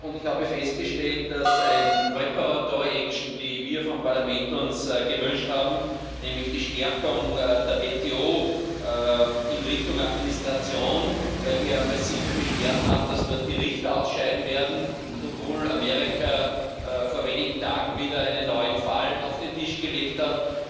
Ich habe festgestellt, dass eine die wir vom Parlament uns gewünscht haben, nämlich die Stärkung der WTO in Richtung Administration, weil wir massive Beschwerden haben, dass dort die Richter ausscheiden werden, und obwohl Amerika vor wenigen Tagen wieder einen neuen Fall auf den Tisch gelegt hat